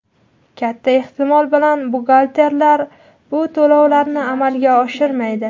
katta ehtimol bilan buxgalterlar bu to‘lovlarni amalga oshirmaydi.